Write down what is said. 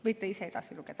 Võite ise edasi lugeda.